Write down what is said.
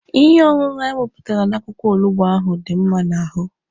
Ihe ọṅụṅụ anyị wepụtara n'akwụkwọ olugbo ahụ dị mma n'ahụ.